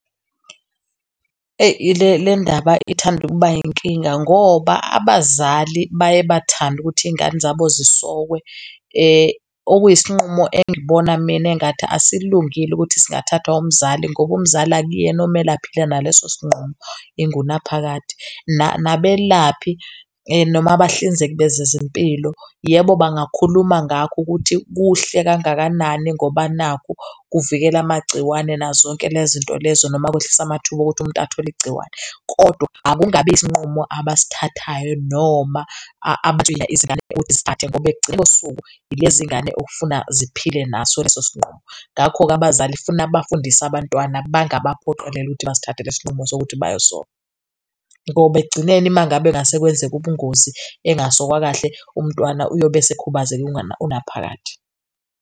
Le lendaba ithanda ukuba inkinga ngoba abazali baye bathande ukuthi izingane zabo zisokwe. Okuyisinqumo engibona mina engathi asilungile ukuthi singathathwa umzali ngoba umzali akuyena okumele aphile naleso sinqumo ingunaphakade. Nabelaphi, noma bahlinzeki bezezempilo yebo, bangakhuluma ngakho ukuthi, kuhle kangakanani ngoba nakhu kuvikela amagciwane nazo zonke lezo zinto lezo noma kwehlisa amathuba okuthi umuntu athole igciwane, kodwa akungabi isinqumo abasithathayo noma abatshela izingane zisithathe ngoba ekugcineni kosuku ilezi ngane okufuna ziphile naso leso sinqumo. Ngakho-ke, abazali funa abafundise abantwana bangabaphoqeleli ukuthi basithathele lesi sinqumo sokuthi bayosoka ngoba ekugcineni uma ngabe kungase kwenzeka ubungozi engasokwa kahle umntwana uyobe esekhubazeka inguna, ingunaphakade.